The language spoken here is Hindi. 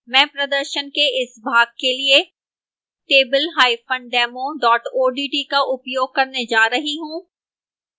मैं प्रदर्शश के इस भाग के लिए tabledemo odt का उपयोग करने जा रही हूं